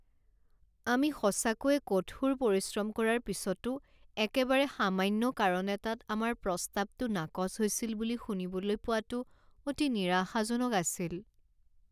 আমি সঁচাকৈয়ে কঠোৰ পৰিশ্ৰম কৰাৰ পিছতো একেবাৰে সামান্য কাৰণ এটাত আমাৰ প্ৰস্তাৱটো নাকচ হৈছিল বুলি শুনিবলৈ পোৱাটো অতি নিৰাশাজনক আছিল।